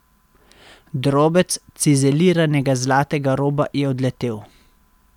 Drobec cizeliranega zlatega roba je odletel.